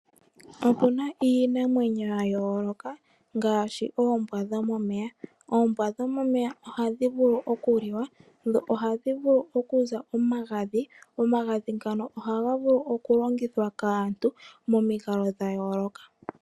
Opuna iinamwenyo yayooloka ngaashi: oombwa dhomomeya, oombwa dhomeya ohadhi vulu okuliwa dho ohadhivulu okuza omagadhi. Omagadhi ngano ohaga vulu okulongithwa kaantu momikalo dhayooloka